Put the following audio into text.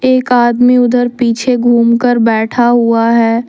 एक आदमी उधर पीछे घूम कर बैठा हुआ है।